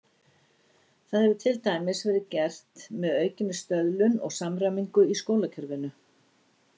Það hefur til dæmis verið gert með aukinni stöðlun og samræmingu í skólakerfinu.